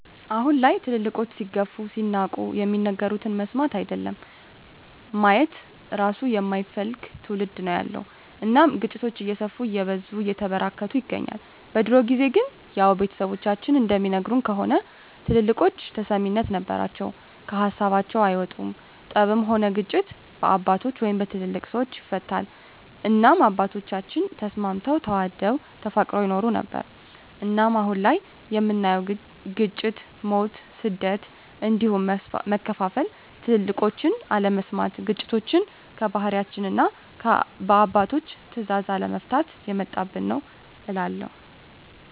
አሁን ላይ ትልልቆች ሲገፉ ሲናቁ የሚናገሩትን መስማት አይደለም ማየት እራሱ የማይፈልግ ትዉልድ ነዉ ያለዉ እናም ግጭቶች እየሰፉ እየበዙ እየተበራከቱ ይገኛል። በድሮ ጊዜ ግን ያዉ ቤተሰቦቻችን እንደሚነግሩን ከሆነ ትልልቆች ተሰሚነት ነበራቸዉ ከሀሳባቸዉ አይወጡም ጠብም ሆነ ግጭት በአባቶች(በትልልቅ ሰወች) ይፈታል እናም አባቶቻችን ተስማምተዉ ተዋደዉ ተፋቅረዉ ይኖሩ ነበር። እናም አሁን ላይ የምናየዉ ግጭ፣ ሞት፣ ስደት እንዲሁም መከፋፋል ትልቆችን አለመስማት ግጭቶችችን በባህላችንና እና በአባቶች ትእዛዝ አለመፍታት የመጣብን ነዉ እላለሁ።